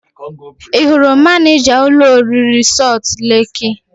Ị hụrụ manịja ụlọ oriri Sọlt leki?